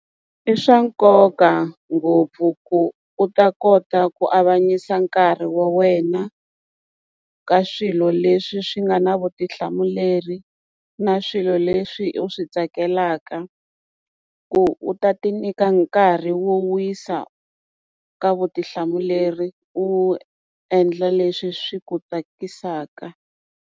I swa nkoka ngopfu ku u ta kota ku avanyisa nkarhi wa wena ka swilo leswi swi nga na vutihlamuleri na swilo leswi u swi tsakelaka ku u ta ti nyika nkarhi wo wisa ka vutihlamuleri u endla leswi swi ku tsakisaka.